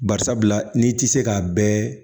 Bari sabula n'i ti se k'a bɛɛ